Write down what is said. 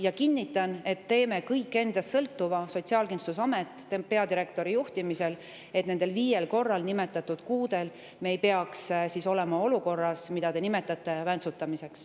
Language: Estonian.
Ma kinnitan, et me teeme Sotsiaalkindlustusameti peadirektori juhtimisel kõik endast sõltuva, et nendel viiel korral, et nendel nimetatud kuudel me ei peaks leidma ennast olukorrast, mida teie nimetate väntsutamiseks.